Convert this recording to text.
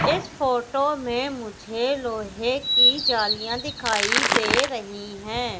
इस फोटो में मुझे लोहे की जालियां दिखाई दे रही है।